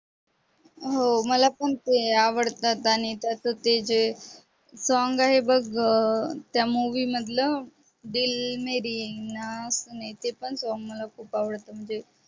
हो मला पण ते आवडतात गाणे त्याच ते जे song आहे बघ त्या movie मधल दिल मेरी ना सूने ते पण song मला खूप आवडत म्हणजे